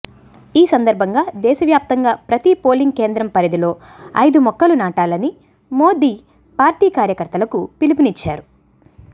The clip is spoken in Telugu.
ఈ సందర్భంగా దేశవ్యాప్తంగా ప్రతి పోలింగ్ కేంద్రం పరిధిలో ఐదు మొక్కలు నాటాలని మోదీ పార్టీ కార్యకర్తలకు పిలుపునిచ్చారు